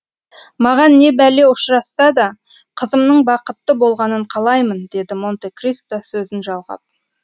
маған не бәле ұшырасса да қызымның бақытты болғанын қалаймын деді монте кристо сөзін жалғап